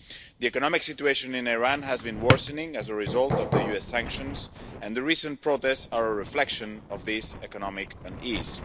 The economic situation in Iran has been worsening as a result of the US sanctions, and the recent protests are a reflection of this economic unease.